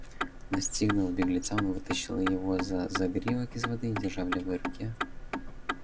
настигнув беглеца он вытащил его за загривок из воды и держа в левой руке